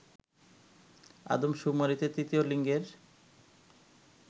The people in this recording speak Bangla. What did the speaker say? আদমশুমারিতে তৃতীয় লিঙ্গের